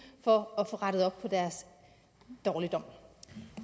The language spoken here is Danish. for at få rettet op på deres dårligdom